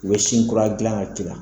U bɛ sin kura gilan a ji la